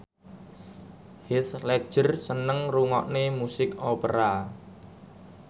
Heath Ledger seneng ngrungokne musik opera